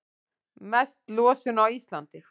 Mest losun á Íslandi